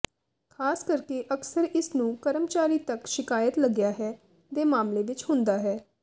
ਖ਼ਾਸ ਕਰਕੇ ਅਕਸਰ ਇਸ ਨੂੰ ਕਰਮਚਾਰੀ ਤੱਕ ਸ਼ਿਕਾਇਤ ਲੱਗਿਆ ਹੈ ਦੇ ਮਾਮਲੇ ਵਿੱਚ ਹੁੰਦਾ ਹੈ